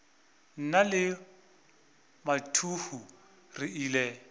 nna le mathuhu re ile